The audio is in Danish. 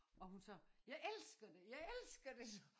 Og hun sagde jeg elsker det jeg elsker det sagde